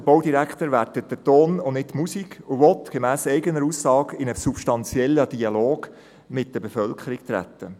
Der Baudirektor bewertet den Ton, nicht die Musik, und will gemäss eigener Aussage in einen substanziellen Dialog mit der Bevölkerung treten.